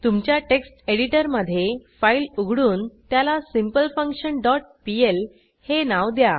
तुमच्या टेक्स्ट एडिटरमधे फाईल उघडून त्याला सिम्पलफंक्शन डॉट पीएल हे नाव द्या